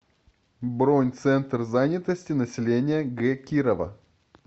бронь центр занятости населения г кирова